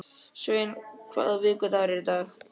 Sveina, hvaða vikudagur er í dag?